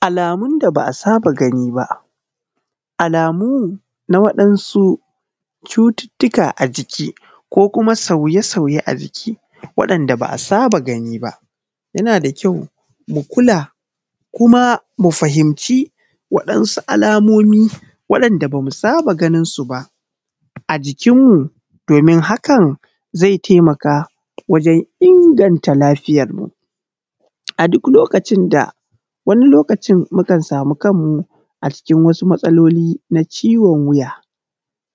Alamun da ba a saba gani ba, alamu na waɗansu cututtuka a jiki ko kuma sauye-sauye a jiki waɗanɗa ba a saba gani ba yana da kyau mu kula kuma mu fahimci waɗansu alamomi waɗanɗa basu saba ganinsu ba a jikin mu domin hakan zai taimaka wajen inganta lafiyan mu. A duk lokacin da wani lokaci mukan samu kanmu a cikin wasu matsaloli na ciwon wiya,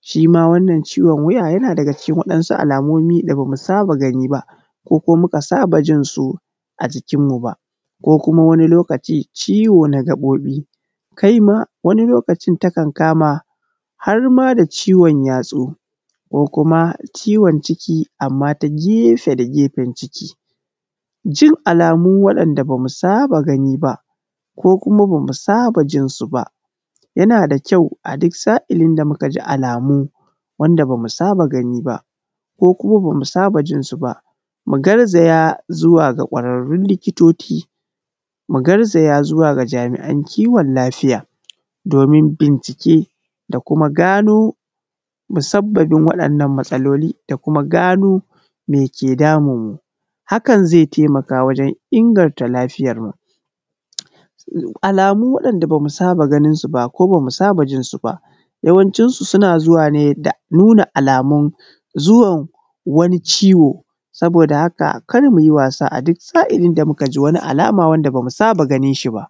shi ma wannan ciwon wiya yana daga cikin wasu alamomi da bamu saba gani ba ko kuma muka saba jinsu a jikinmu ba ko kuma wani lokaci ciwo na gaɓoɓi, kai ma wani lokaci takan kama har ma da ciwon yatsu ko kuma ciwon ciki amma ta gefe da gefen ciki, jin alamu waɗanɗa bamu saba gani ba ko kuma bamu saba jinsu ba yana da kyau a duk sa’ilin da muka ji alamu da bamu saba gani ba ko kuma bamu saba jinsu ba, mu garzaya zuwa ga gwararrun likitoci, mu garzaya zuwa ga jami’an kiwon lafiya domin bincike da kuma gano musabbabin waɗannan matsaloli da kuma gano me ke damun mu, hakan zai taimaka wajen inganta lafiyarmu, alamu waɗanɗa bamu saba ganinsu ba ko bamu saba jinsu ba, yawancinsu suna zuwa ne da nuna alamu zuwan wani ciwo saboda haka kar mu yi wasa a duk sa’ilin da muka ji wani alama wanda bamu saba ganin shi ba.